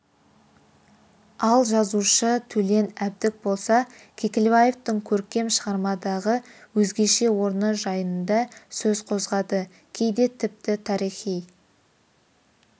ал жазушы төлен әбдік болса кекілбаевтың көркем шығармадағы өзгеше орны жайында сөз қозғады кейде тіпті тарихи